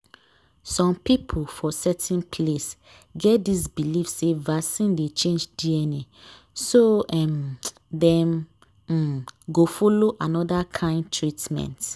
some people for certain place get this believe say vaccine dey change dna so um dem um go follow another kind treatment.